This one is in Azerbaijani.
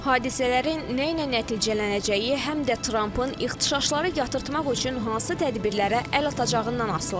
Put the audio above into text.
Hadisələrin nə ilə nəticələnəcəyi həm də Trampın ixtişaşları yatırtmaq üçün hansı tədbirlərə əl atacağından asılıdır.